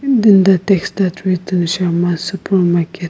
and then that texted with shams super market.